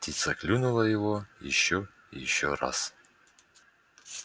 птица клюнула его ещё и ещё раз